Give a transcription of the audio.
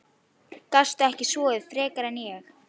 Gastu ekki sofið frekar en ég?